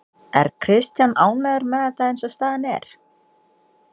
Er Kristján ánægður með þetta eins og staðan er?